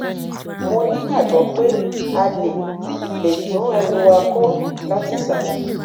mo nígbàgbọ pé a lè lè tún ẹrù wa kọ látìsàlẹ